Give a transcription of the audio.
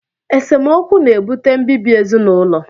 Esemokwu na-ebute mbibi ezinụlọ